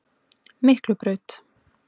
Miklubraut